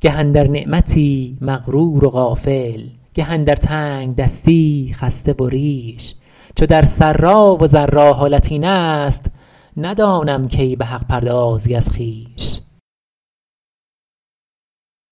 گه اندر نعمتی مغرور و غافل گه اندر تنگدستی خسته و ریش چو در سرا و ضرا حالت این است ندانم کی به حق پردازی از خویش